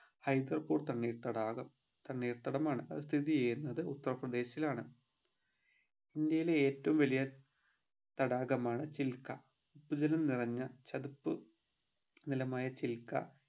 ഹൈദർപൂർ തണ്ണീർത്തടാകം തണ്ണീർതടമാണ് അത് സ്ഥിതി ചെയ്യുന്നത് ഉത്തർപ്രദേശിൽ ആണ് ഇന്ത്യയിലെ ഏറ്റവും വലിയ തടാകമാണ് ചിൽകാ ഉപ്പ് ജലം നിറഞ്ഞ നിറഞ്ഞ ചതുപ്പ് നിലമായ ചിൽകാ